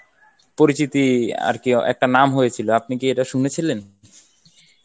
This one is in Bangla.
পরিচিতি আর কি একটা নাম হয়েছিল আপনি কি এটা শুনেছিলেন?